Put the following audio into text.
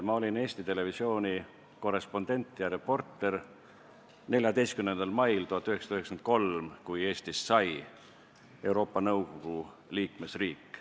Ma olin Eesti Televisiooni korrespondent ja reporter 14. mail 1993, kui Eestist sai Euroopa Nõukogu liikmesriik.